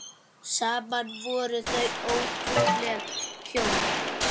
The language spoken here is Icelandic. Saman voru þau ótrúleg hjón.